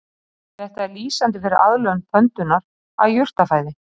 Þetta er lýsandi fyrir aðlögun pöndunnar að jurtafæði.